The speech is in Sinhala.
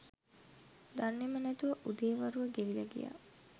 දන්නෙම නැතුව උදේ වරුව ගෙවිල ගියා